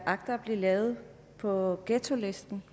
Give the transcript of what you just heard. agter at lave på ghettolisten